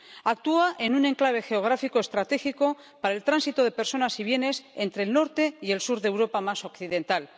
Actúa en un enclave geográfico estratégico para el tránsito de personas y bienes entre el norte y el sur de la Europa más occidental.